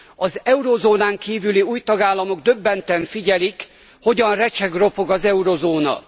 Az eurózónán kívüli új tagállamok döbbenten figyelik, hogyan recseg ropog az eurózóna.